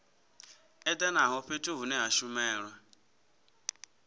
edanaho fhethu hune ha shumelwa